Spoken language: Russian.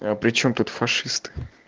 а причём тут фашисты